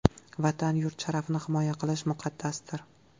Vatan, yurt sharafini himoya qilish muqaddasdir!